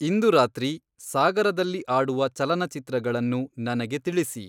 ಇಂದು ರಾತ್ರಿ ಸಾಗರದಲ್ಲಿ ಆಡುವ ಚಲನಚಿತ್ರಗಳನ್ನು ನನಗೆ ತಿಳಿಸಿ